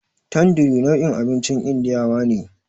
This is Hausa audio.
Tanduri nau'in abincin indiyawa ne.